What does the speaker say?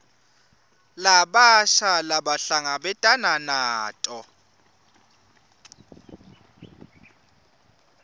labasha labahlangabetana nato